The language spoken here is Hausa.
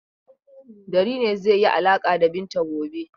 Dari ne zai yi alaƙa da Binta gobe.